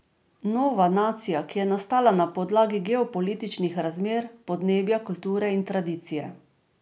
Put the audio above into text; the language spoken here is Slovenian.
Nova nacija, ki je nastala na podlagi geopolitičnih razmer, podnebja, kulture in tradicije.